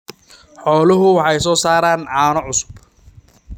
Xooluhu waxay soo saaraan caano cusub.